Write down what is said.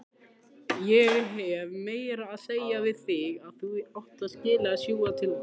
Ég hef meira að segja sjálfur talað inn í einn.